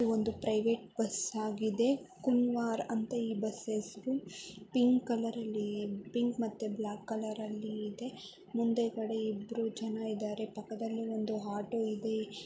ಒಂದು private bus ಆಗಿದೆ. ಕುನ್ವಾರ್ ಅಂತ ಈ ಬಸ್ ಹೆಸರು ಪಿಂಕ್ ಕಲರ್ ಅಲ್ಲಿ ಪಿಂಕ್ ಮತ್ತೆ ಬ್ಲಾಕ್ ಕಲರ್ ಅಲ್ಲಿ ಇದೆ ಮುಂದೆಕಡೆ ಇಬ್ಬರು ಜನ ಇದಾರೆ ಪಕ್ಕದಲ್ಲಿ ಒಂದು ಆಟೋ ಇದೆ.